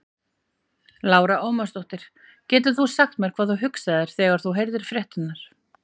Lára Ómarsdóttir: Getur þú sagt mér hvað þú hugsaðir þegar þú heyrðir fréttirnar?